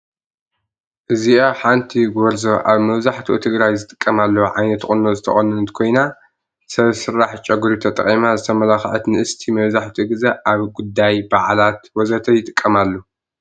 እዚአ ሐንቲ ጎርዞ አብ መብዛሕትኡ ትግራይ ዝጥቀማሉ ዓይነት ቁኖ ዝተቆነነት ኮይና ሰብ ስራሕ ጨቁሪ ተጠቂማ ዝተመላኸዐት ንእስቲ መብዘሐትኡ ግዘ አብ ጉዳይ፣ በዓላት ወዘተ ይጥቀማሉ።